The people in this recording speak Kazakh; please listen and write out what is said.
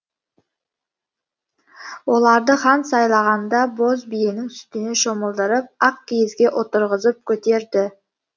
оларды хан сайлағанда боз биенің сүтіне шомылдырып ақ киізге отырғызып көтерді